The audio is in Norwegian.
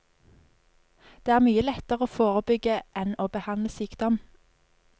Det er mye lettere å forebygge enn å behandle sykdom.